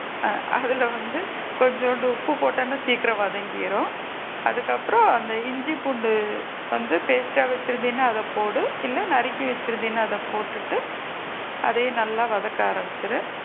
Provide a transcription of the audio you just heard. ஆ அதுல வந்து கொஞ்சோண்டு உப்பு போட்டின்னா சீக்கிரம் வதங்கிடும் அதுக்கு அப்பறம் அந்த இஞ்சி பூண்டு வந்து paste டா வச்சு இருந்தீனா அத போடு இல்ல நறுக்கி வச்சு இருந்தீனா அத போட்டுட்டு அதையும் நல்லா வதக்க ஆரம்பிச்சிடு,